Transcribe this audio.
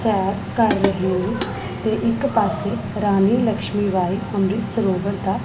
ਸੈਰ ਕਰ ਰਹੇ ਤੇ ਇੱਕ ਪਾੱਸੇ ਰਾਣੀ ਲਛਮੀ ਬਾਈ ਅੰਮ੍ਰਿਤ ਸਰੋਵਰ ਦਾ--